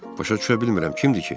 Başa düşə bilmirəm, kimdir ki?